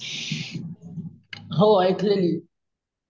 हो ऐकलेली.